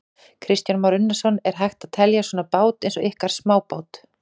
Kristján Már Unnarsson: Er hægt að telja svona bát eins og ykkar smábát?